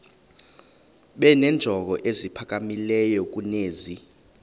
benenjongo eziphakamileyo kunezi